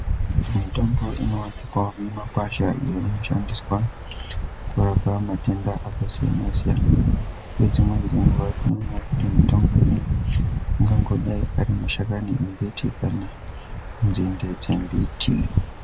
Mitombo inoonekwa mumakwasha iyo inoshandiswa kurapa matenda akasiyana siyana ngedzimweni dzenguwa tinoona kuti mitombo iyi angangodai ari mashakani embiti kana nzinde dzembiti.